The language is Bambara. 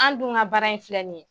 An' dun ŋa baara in filɛ nin ye